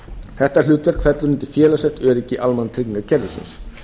þetta hlutverk fellur undir félagslegt öryggi almannatryggingakerfisins